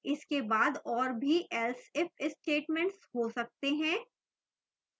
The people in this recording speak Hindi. इसके बाद और भी else if statements हो सकते हैं